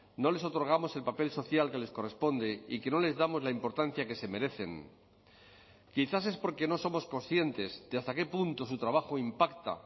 no les otorgamos el papel social que les corresponde y que no les damos la importancia que se merecen quizás es porque no somos conscientes de hasta qué punto su trabajo impacta